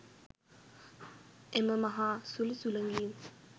එම මහා සුළි සුළඟින්